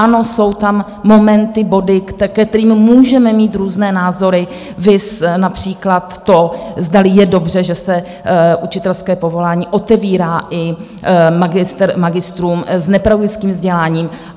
Ano, jsou tam momenty, body, ke kterým můžeme mít různé názory, viz například to, zdali je dobře, že se učitelské povolání otevírá i magistrům s nepedagogickým vzděláním.